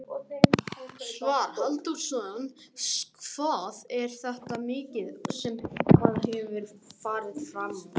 Svavar Halldórsson: Hvað er þetta mikið sem að hefur farið framúr?